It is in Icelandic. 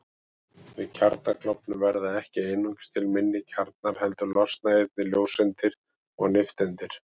Við kjarnaklofnun verða ekki einungis til minni kjarnar heldur losna einnig ljóseindir og nifteindir.